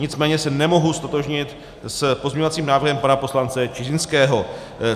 Nicméně se nemohu ztotožnit s pozměňovacím návrhem pana poslance Čižinského.